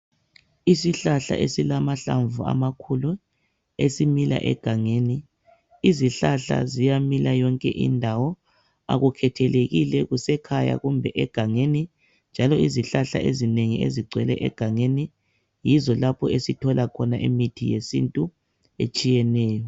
Isihlahla esilamahlamvu amakhulu esimila egangeni izihlahla ziyamila yonke indawo akukhethelekile kusekhaya kumbe egangeni njalo izihlahla ezinengi ezigcwele egangeni yizo lapho esithola khona imithi yesintu etshiyeneyo.